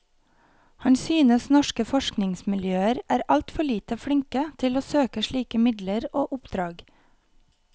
Han synes norske forskningsmiljøer er alt for lite flinke til å søke slike midler og oppdrag.